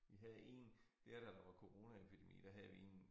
Vi havde én dér da der var coronaepidemi der havde vi én